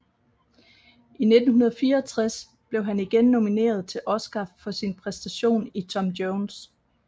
I 1964 blev han igen nomineret til Oscar for sin præstation i Tom Jones